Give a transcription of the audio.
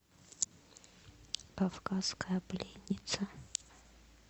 кавказская пленница